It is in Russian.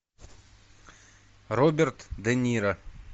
роберт де ниро